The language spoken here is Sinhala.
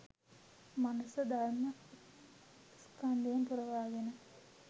මනස ධර්ම ස්කන්ධයෙන් පුරවාගෙන